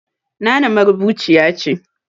Nana marubuciya ce